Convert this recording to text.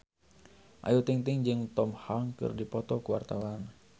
Ayu Ting-ting jeung Tom Hanks keur dipoto ku wartawan